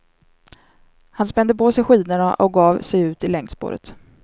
Han spände på sig skidorna och gav sig ut i längdspåret.